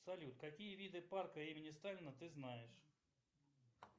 салют какие виды парка имени сталина ты знаешь